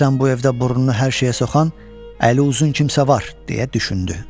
Deyəsən bu evdə burnunu hər şeyə soxan, əli uzun kimsə var, deyə düşündü.